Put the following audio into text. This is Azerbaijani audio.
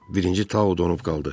Birinci Tao donub qaldı.